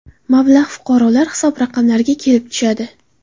Mablag‘ fuqarolar hisob raqamiga kelib tushadi.